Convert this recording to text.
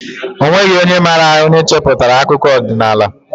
O nweghị onye maara onye cheputara akụkọ odinaala